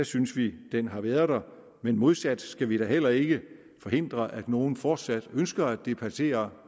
synes vi at den har været der men modsat skal vi da heller ikke forhindre at nogle fortsat ønsker at debattere